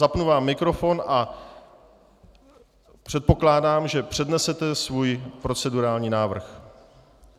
Zapnu vám mikrofon a předpokládám, že přednesete svůj procedurální návrh.